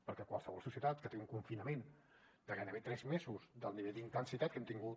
perquè qualsevol societat que té un confinament de gairebé tres mesos del nivell d’intensitat que hem tingut